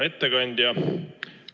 Hea ettekandja!